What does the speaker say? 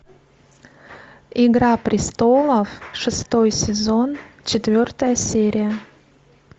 игра престолов шестой сезон четвертая серия